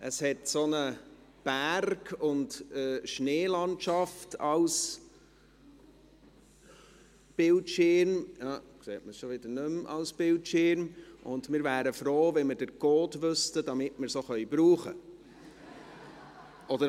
Es hat einen Berg und eine Schneelandschaft als Bildschirmhintergrund, und wir wären froh, wenn wir den Code wüssten, damit wir es auch benutzen können.